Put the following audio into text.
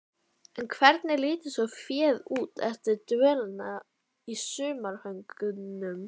En hvernig lítur svo féð út eftir dvölina í sumarhögunum?